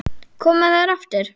Koma þær aftur?